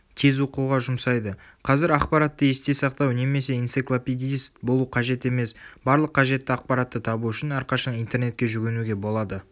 тез оқуға жұмсайды.қазір ақпаратты есте сақтау немес энциклопедист болу қажет емес барлық қажетті ақпаратты табу үшін әрқашан интернетке жүгінуге болады